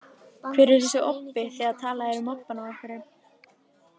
Hver er þessi obbi, þegar talað er um obbann af einhverju?